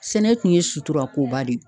Sɛnɛ kun ye suturakoba de ye